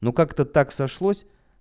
ну как то так сошлось